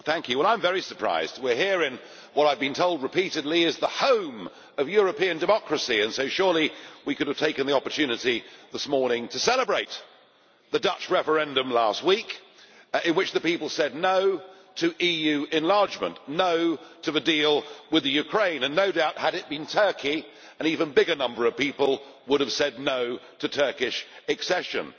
Mr President, I am very surprised. We are here in what I have been told repeatedly is the home of European democracy, so surely we could have taken the opportunity this morning to celebrate the Dutch referendum last week, in which the people said no' to EU enlargement, no' to the deal with the Ukraine, and no doubt had it been Turkey, an even bigger number of people would have said no' to Turkish accession.